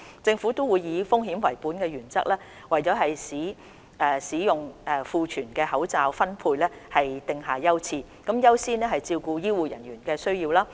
政府會以風險為本原則，為使用庫存的口罩分配訂定優次，優先照顧醫護人員的需要。